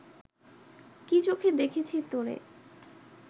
কি চোখে দেখেছি তোরে